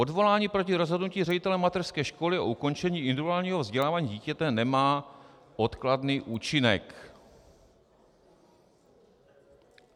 Odvolání proti rozhodnutí ředitele mateřské školy o ukončení individuálního vzdělávání dítěte nemá odkladný účinek.